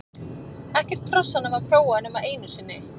Ekkert hrossanna var prófað nema einu sinni.